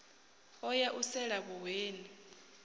o ya u sela vhuhweni